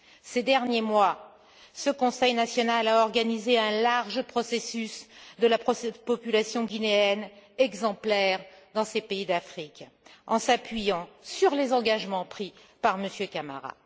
Ces derniers mois, ce Conseil national a organisé un large processus pour la population guinéenne, exemplaire dans ces pays d'Afrique, en s'appuyant sur les engagements pris par M. Camara.